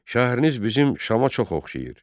Şəhəriniz bizim Şama çox oxşayır.